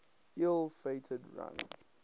ill fated run